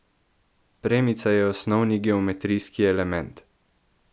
Premica je osnovni geometrijski element.